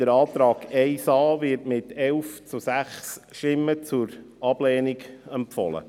Der Antrag 1a wird mit 11 zu 6 Stimmen zur Ablehnung empfohlen.